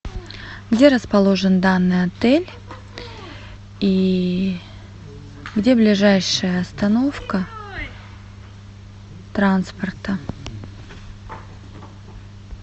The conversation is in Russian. где расположен данный отель и где ближайшая остановка транспорта